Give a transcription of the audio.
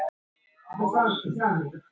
Maður er alveg frosinn!